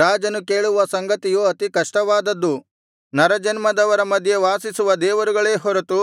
ರಾಜನು ಕೇಳುವ ಸಂಗತಿಯು ಅತಿ ಕಷ್ಟವಾದದ್ದು ನರಜನ್ಮದವರ ಮಧ್ಯೆ ವಾಸಿಸುವ ದೇವರುಗಳೇ ಹೊರತು